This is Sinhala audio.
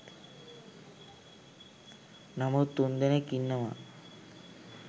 නමුත් තුන් දෙනෙක් ඉන්නවා